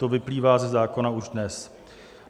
To vyplývá ze zákona už dnes.